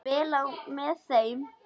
Fór vel á með þeim.